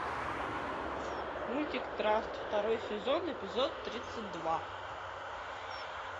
мультик траст второй сезон эпизод тридцать два